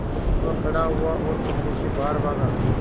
वह खड़ा हुआ और कमरे से बाहर भागा